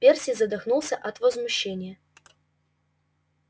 перси задохнулся от возмущения